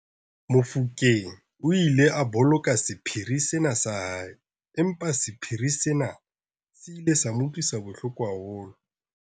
Mofokeng o ile a boloka sephiri sena sa hae empa sephiri sena se ile sa mo utlwisa bohloko haholo.